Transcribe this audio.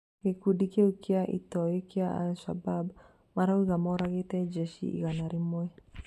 Gĩkundi kĩu gĩa itoi kia al-Shabab marauga moragĩte njeshi igana rĩmwe